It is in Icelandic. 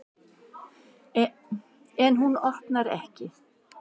En hún opnar ekki.